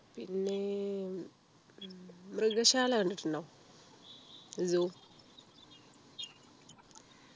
പിന്നെ ഉം മൃഗശാല കണ്ടിട്ടുണ്ടോ zoo